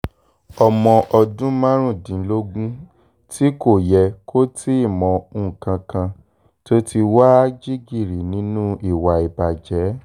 ọmọ ọdún márùndínlógún tí kò yẹ kó tì í mọ nǹkan kan tó ti wàá jingiri nínú ìwà ìbàjẹ́